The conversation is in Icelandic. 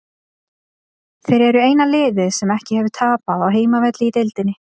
Þeir eru eina liðið sem ekki hefur tapað á heimavelli í deildinni.